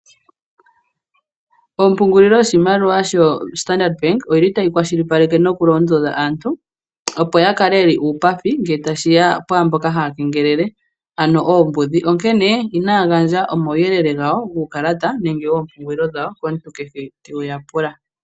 Ompungulilo yoshimaliwa yo-Standard Bank otayi kwashilipaleke nokulondodha aantu opo yakale ye li uupathi ngele tashiya kwaamboka taya keengelele ano oombudhi. Inayagandja omauyelele goompungulilo dhawo nenge guukalata komuntu kehe te yapula.